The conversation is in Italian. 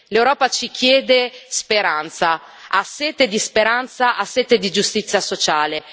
L'Europa ci chiede speranza, ha sete di speranza, ha sete di giustizia sociale.